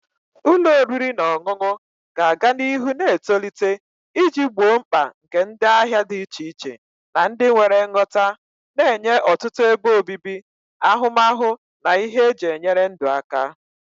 Ụlọ oriri na ọṅụṅụ ga-aga n'ihu na-etolite iji gboo mkpa nke ndị ahịa dị iche iche na ndị nwere nghọta, na-enye ọtụtụ ebe obibi, ahụmahụ na ihe eji enyere ndụ aka.